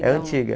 É antiga.